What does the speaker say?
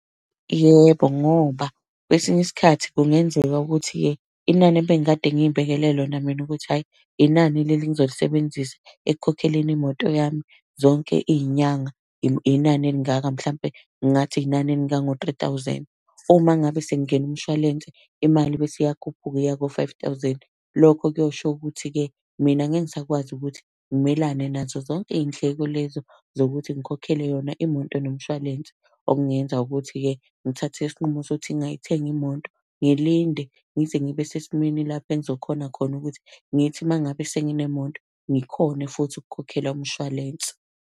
Yebo, ngoba kwesinye iskhathi kungenzeka ukuthi-ke inani ebengikade ngiy'bekele lona mina ukuthi hhayi inani leli engizolisebenzisa ekukhokheleni imoto yami zonke iy'nyanga, inani elingaka mhlampe. ngingathi inani elingango-three thousand. Pho uma ngabe sekungena umshwalense imali bese iyakhuphuka iya ko-five thousand. Lokho kuyosho ukuthi-ke, mina ngeke ngisakwazi ukuthi ngimelane nazo zonke iy'ndleko lezo zokuthi ngikhokhele yona imoto nomshwalense. Okungenza ukuthi-ke ngithathe isinqumo sokuthi ngingayithengi imoto, ngilinde ngize ngibe sesimweni lapho engizokhona khona ukuthi ngithi uma ngabe senginemoto ngikhone futhi ukukhokhela umshwalense.